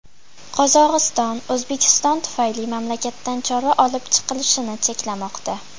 Qozog‘iston O‘zbekiston tufayli mamlakatdan chorva olib chiqilishini cheklamoqda.